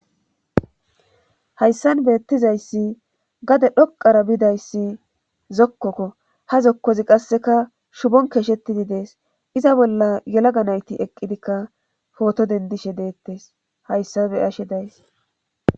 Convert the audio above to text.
hayssan beettizayssi gade dhoqara biidayssi zokkokko ha zokkozi qasseka shubon keeshetidi dees iza bolla yelaga nayti eqqidikka pooto dendishe deettes hayssabe ashe days